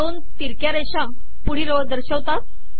दोन तिरक्या रेषा पुढील ओळ दर्शवतात